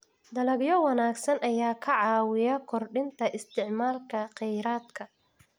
Dalagyo wanaagsan ayaa ka caawiya kordhinta isticmaalka kheyraadka.